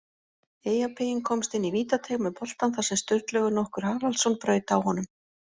Eyjapeyinn komst inn í vítateig með boltann þar sem Sturlaugur nokkur Haraldsson braut á honum.